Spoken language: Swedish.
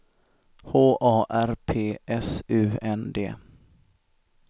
H A R P S U N D